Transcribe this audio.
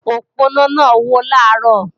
Òponá náà wó làárò